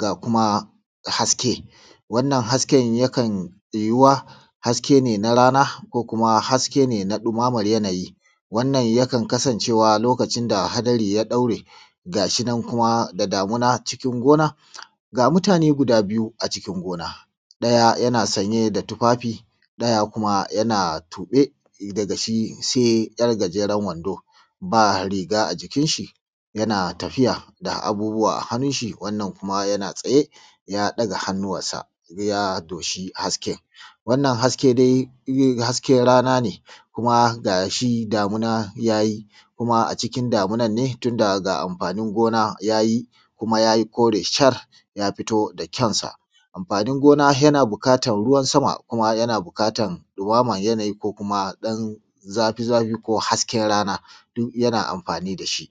ga kuma haske. Wannan hasken yakan yuyuwa: Haske ne na rana, ko kuma haske ne na ɗumaman yanayi. Wannan ya kan kasancewa a lokacin da hadari ya ɗaure. Gashinan kuma, da damina. ga mutane guda biyu Cikin gona,: ɗaya yana sanye da tufafi, ɗaya kuma yana tube, daga shi sai ‘yar gajeren wando, ba riga a jikin shi. Yana tafiya, da abubuwa a hannun shi wannan kuma yana tsaye, ya ɗaga hanu, wannan ya doshi hasken. Haka dai, hasken rana ne kuma gashi damuna ya yi, kuma a cikin ne tunda ga amfanin gona ya yi, kuma ya yi kore shar, ya fito da kyawunsa. Amfanin gona yana buƙatan ruwan sama, kuma yana buƙatan ɗumaman yanayi, ko kuma ɗan zafi-zafi, ko hasken rana duk yana amfani da shi.